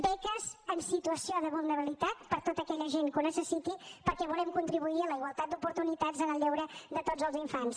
beques en situació de vulnerabilitat per a tota aquella gent que les necessiti perquè volem contribuir a la igualtat d’oportunitats en el lleure de tots els infants